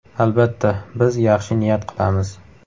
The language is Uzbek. Albatta, biz yaxshi niyat qilamiz.